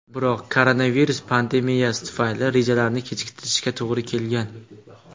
Biroq koronavirus pandemiyasi tufayli rejalarni kechiktirishga to‘g‘ri kelgan.